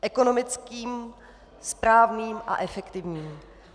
... ekonomickým, správním a efektivním.